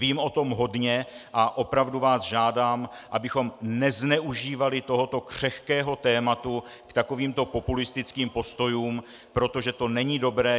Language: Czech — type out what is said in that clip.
Vím o tom hodně a opravdu vás žádám, abychom nezneužívali tohoto křehkého tématu k takovým populistickým postojům, protože to není dobré.